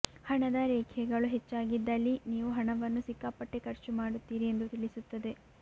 ಹಣದ ರೇಖೆಗಳು ಹೆಚ್ಚಾಗಿದ್ದಲ್ಲಿ ನೀವು ಹಣವನ್ನು ಸಿಕ್ಕಾಪಟ್ಟೆ ಖರ್ಚು ಮಾಡುತ್ತೀರಿ ಎಂದು ತಿಳಿಸುತ್ತದೆ